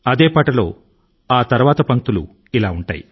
అదే పాట లో ఆ తరువాతి పంక్తులు ఇలా ఉంటాయి